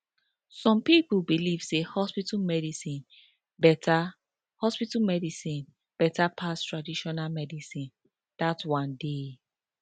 some pipo believe say hospital medicine beta hospital medicine beta pass traditional medicine dat one dey